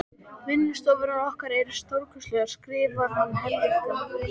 Vinnustofurnar okkar eru stórkostlegar skrifar hann Helga.